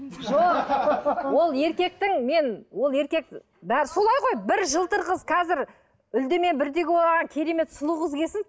жоқ ол еркектің мен ол еркек бәрі солай ғой бір жылтыр қыз қазір үлде мен бүлдеге оранған керемет сұлу қыз келсін